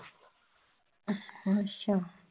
ਅੱਛਾ।